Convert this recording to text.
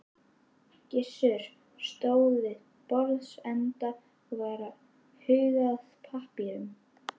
Gizur stóð við borðsenda og var að huga að pappírum.